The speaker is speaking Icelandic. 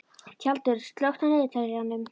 Tjaldur, slökktu á niðurteljaranum.